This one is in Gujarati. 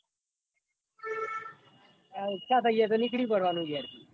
આ ઈંચ થઇ જાય તો નીકળી પ્પ્ડવાનું ગેર થી